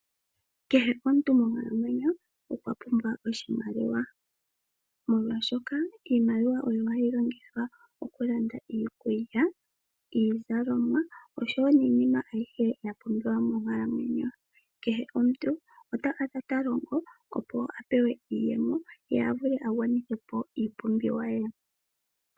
Kehe omuntu monkalamwenyo okwa pumbwa oshimaliwa. Molwashoka iimaliwa oyo hayi longithwa okulanda iikulya, iizalomwa oshowo iinima ayihe ya pumbiwa monkalamwenyo. Kehe omuntu ota kala ta longo opo apewe iiyemo ye avule agwanithe po iipumbiwa ye.